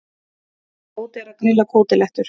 Tóti er að grilla kótilettur.